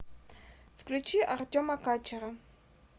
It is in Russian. включи артема качера